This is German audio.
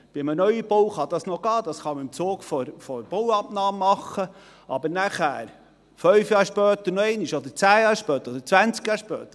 – Bei einem Neubau kann das noch gehen, das kann man im Zug der Bauabnahme machen, aber nachher, fünf Jahre später noch einmal, oder zehn Jahre später oder zwanzig Jahre später?